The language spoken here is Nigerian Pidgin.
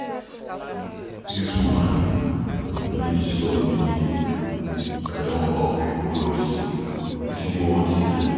Dis woman no dey disturb me, I don up you cloth, wetin you want again?